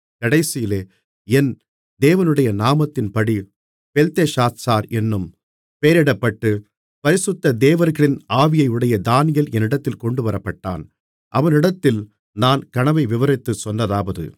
கடைசியிலே என் தேவனுடைய நாமத்தின்படியே பெல்தெஷாத்சார் என்னும் பெயரிடப்பட்டு பரிசுத்த தேவர்களின் ஆவியையுடைய தானியேல் என்னிடத்தில் கொண்டுவரப்பட்டான் அவனிடத்தில் நான் கனவை விவரித்துச் சொன்னதாவது